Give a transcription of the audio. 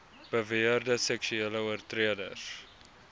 beweerde seksuele oortreders